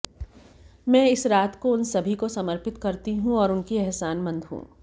मैं इस रात को उन सभी को समर्पित करती हूँ और उनकी एहसानमंद हूं